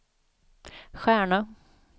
stjärna